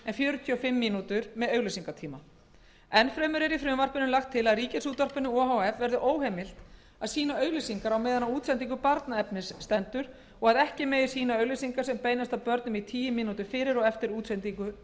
en fjörutíu og fimm mínútur með auglýsingatíma jafnframt er í frumvarpinu lagt til að ríkisútvarpinu o h f verði óheimilt að sýna auglýsingar á meðan á útsendingu barnaefnis stendur og að ekki megi sýna auglýsingar sem beinast að börnum í tíu mínútur fyrir og eftir útsendingu